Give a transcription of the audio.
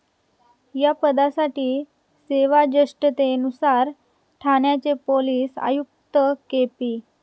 या पदासाठी सेवाजेष्ठतेनुसार ठाण्याचे पोलीस आयुक्त के. पी.